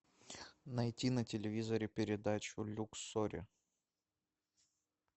найти на телевизоре передачу люксори